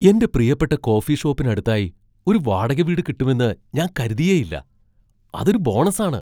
എന്റെ പ്രിയപ്പെട്ട കോഫി ഷോപ്പിന് അടുത്തായി ഒരു വാടക വീട് കിട്ടുമെന്ന് ഞാൻ കരുതിയേയില്ല. അതൊരു ബോണസ് ആണ്!